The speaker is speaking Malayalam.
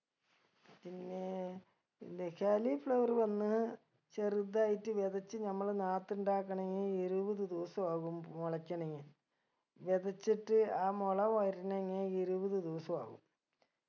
പിന്നേ ഇല്ലെ കാലി flower വന്ന് ചെറുതായിട്ട് വെതച്ച് നമ്മള് നാത്ത് ഇണ്ടാക്കണങ്കി ഇരുപത് ദിവസ ആകും മൊളക്കണെങ്കി വെതച്ചിട്ട് ആ മൊള വരണെങ്കി ഇരുപത് ദിവസം ആകും